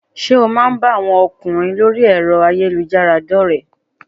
Sé o má a ń bá àwọn ọkùnrin lórí ẹ̀rọ ayélujára dórèé?